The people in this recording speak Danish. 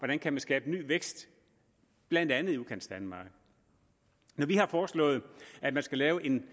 man kan skabe ny vækst blandt andet i udkantsdanmark når vi har foreslået at man skal lave en